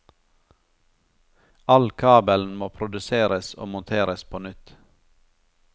All kabelen må produseres og monteres på nytt.